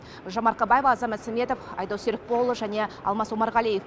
гүлжан марқабаева азамат сәметов айдос серікболұлы және алмас омарғалиев